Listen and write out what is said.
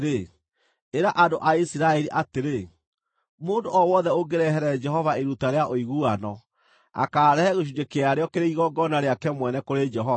“Ĩra andũ a Isiraeli atĩrĩ, ‘Mũndũ o wothe ũngĩrehere Jehova iruta rĩa ũiguano, akaarehe gĩcunjĩ kĩarĩo kĩrĩ igongona rĩake mwene kũrĩ Jehova.